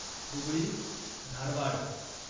Hubli Dharwad